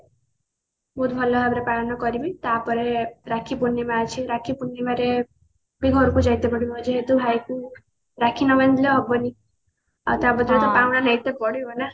ବହୁତ ଭଲ ଭାବ ରେ ପାଳନ କରିବି ତାପରେ ରାକ୍ଷୀ ପୁର୍ନିମା ଅଛି ରାକ୍ଷୀ ପୁର୍ଣିମା ରେ ବି ଘରକୁ ଯାଇତେ ପଡିବ ଯେହେତୁ ଭାଇ କୁ ରାକ୍ଷୀ ନବାନ୍ଧିଲେ ହବନି ଆଉ ତା ବଦଳ ରେ ତ ପାଉଣା ନେଇତେ ପଡିବ ନା